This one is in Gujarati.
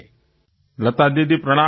મોદી જીઃ લતા દીદી પ્રણામ